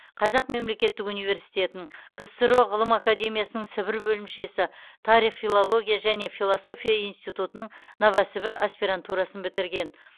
қазақ мемлекеттік университетін ксро ғылым академиясының сібір бөлімшесі тарих филология және философия институтының новосібір аспирантурасын бітірген